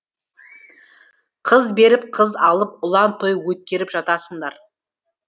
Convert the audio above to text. қыз беріп қыз алып ұлан той өткеріп жатасыңдар